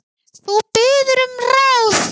Þú biður um ráð.